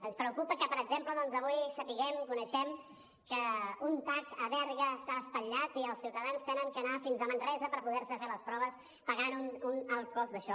ens preocupa que per exemple doncs avui sapiguem coneguem que un tac a berga està espatllat i els ciutadans han d’anar fins a manresa per poder se fer les proves i pagar un alt cost d’això